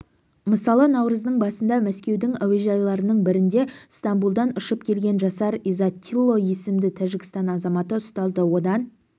мысалы наурыздың басында мәскеудің әуежайларының бірінде стамбулдан ұшып келген жасар изаттило есімді тәжікстан азаматы ұсталды одан